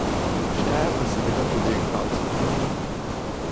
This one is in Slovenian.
Šteje pa seveda tudi igralska kilometrina.